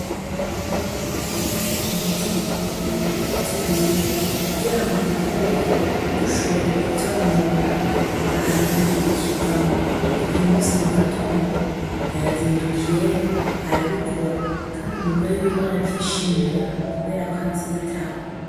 Umwana aragiye gushira umuti mubiterwa vy'iwiwe kugira ngo udukoko ntidushobore kuvyonona ntihagire ikivamwo, uyu munsi mugatondo yazidukiyeyo arabikora kandi umugore wiwe aravyishimira kubera ko avyitaho.